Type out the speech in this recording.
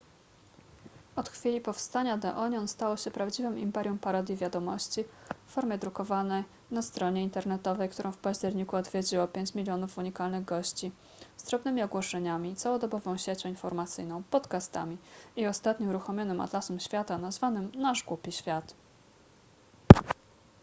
od chwili powstania the onion stało się prawdziwym imperium parodii wiadomości w formie drukowanej na stronie internetowej którą w październiku odwiedziło 5 000 000 unikalnych gości z drobnymi ogłoszeniami całodobową siecią informacyjną podcastami i ostatnio uruchomionym atlasem świata nazwanym nasz głupi świat